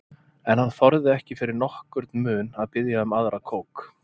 En hann þorði ekki fyrir nokkurn mun að biðja um aðra kók.